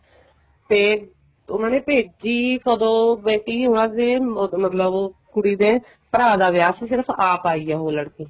ਤੇ ਉਹਨਾ ਨੇ ਭੇਜੀ ਕਦੋਂ ਬੇਟੀ ਉਹਨਾ ਦੇ ਮਤਲਬ ਕੁੜੀ ਦੇ ਭਰਾ ਦਾ ਵਿਆਹ ਸੀ ਸਿਰਫ਼ ਆਪ ਆਈ ਹੈ ਉਹ ਲੜਕੀ